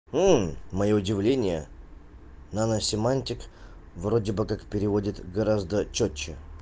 моё удивление наносемантик вроде бы как переводит гораздо чётче